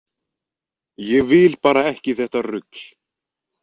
Ég vil bara ekki þetta rugl.